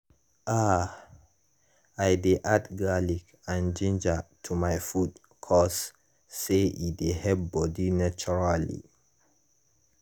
ah i dey add garlic and ginger to my food cause say e dey help bodi naturally.